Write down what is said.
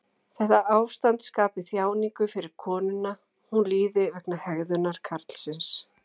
Þetta ástand skapi þjáningu fyrir konuna, hún líði vegna hegðunar karlsins.